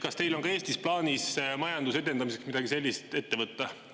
Kas teil on ka Eestis plaanis majanduse edendamiseks midagi sellist ette võtta?